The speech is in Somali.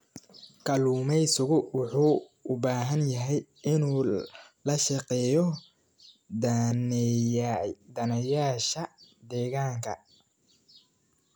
Kalluumeysigu wuxuu u baahan yahay inuu la shaqeeyo daneeyayaasha deegaanka.